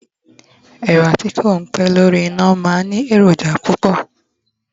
ẹwà ti ko pé lórí ina ma n Ni eroja púpò